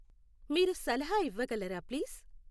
మీరు సలహా ఇవ్వగలరా ప్లీస్